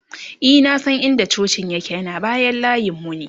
e na San in da cocin yake ,yana bayan layinmu ne